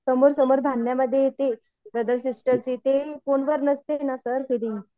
समोर समोर बांधण्यामध्ये येते ब्रदर सिस्टरची ते फोनवर नसते ना सर फिलिंग्ज